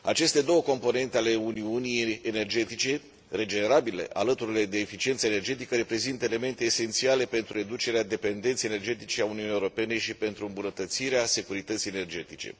Aceste două componente ale uniunii energetice, energiile regenerabile, alături de eficiența energetică, reprezintă elemente esențiale pentru reducerea dependenței energetice a Uniunii Europene și pentru îmbunătățirea securității energetice.